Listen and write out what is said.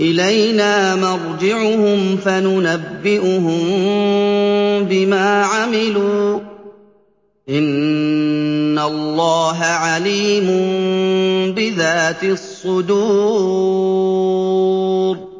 إِلَيْنَا مَرْجِعُهُمْ فَنُنَبِّئُهُم بِمَا عَمِلُوا ۚ إِنَّ اللَّهَ عَلِيمٌ بِذَاتِ الصُّدُورِ